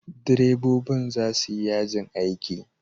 Direbobin za su yi yajin aiki.